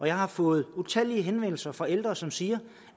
jeg har fået utallige henvendelser fra ældre som siger